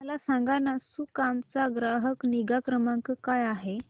मला सांगाना सुकाम चा ग्राहक निगा क्रमांक काय आहे